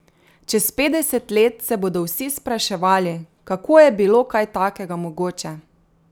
Čez petdeset let se bodo vsi spraševali, kako je bilo kaj takega mogoče?